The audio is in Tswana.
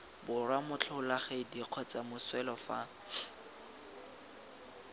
borwa motlholagadi kgotsa moswelwa fa